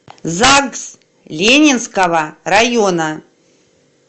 загс ленинского района